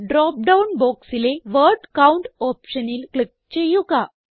drop down ബോക്സിലെ word count ഓപ്ഷനിൽ click ചെയ്യുക